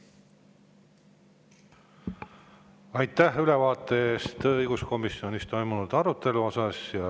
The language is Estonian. Aitäh ülevaate eest õiguskomisjonis toimunud arutelust!